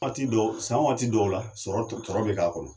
Waati dɔw san waati dɔw la sɔrɔ bɛ k'a kɔnɔ